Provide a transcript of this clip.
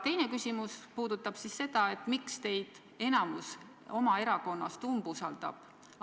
Teine küsimus puudutab seda, miks teie erakonna enamus teid apteegireformi asjus umbusaldab.